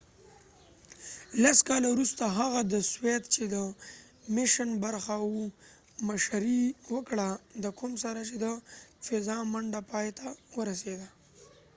لس کاله وروسته هغه د سوویت چې د apollo-soyuz میشن برخه وه مشري وکړه د کوم سره چې د فضا منډه پایته ورسېده